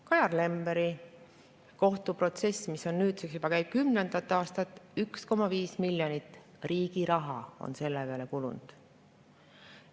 Kajar Lemberi kohtuprotsess käib nüüdseks juba kümnendat aastat, 1,5 miljonit eurot riigi raha on selle peale kulunud.